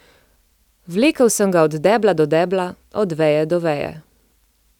Vlekel sem ga od debla do debla, od veje do veje.